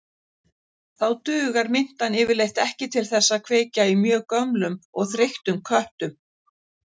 Þá dugar mintan yfirleitt ekki til þess að kveikja í mjög gömlum og þreyttum köttum.